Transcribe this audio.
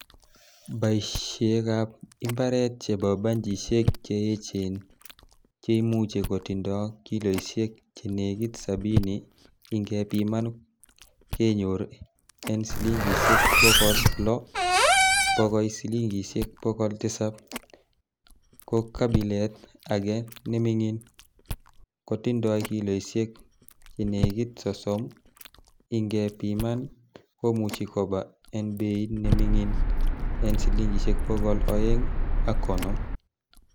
Beishekab imbaret chebo banchisiek che echen cheimuche kotindo kiloisiek chenekit sabini ingepiman kenyor en silingisiek bogol loo bokoi silingisiek bogol Tisap, ko kabilet age nemingin kotindoi kilioisiek chenekit sosom ingepiman komuche koba en bei nemingin en silingisiek bogol oeng ak konoom.